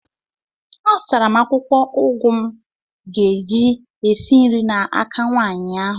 Azụtara m akwụkwọ ụgụ m ga-eji esi nri n'aka nwaanyị ahụ